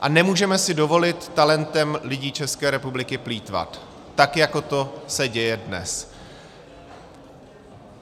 A nemůžeme si dovolit talentem lidí České republiky plýtvat tak, jako se to děje dnes.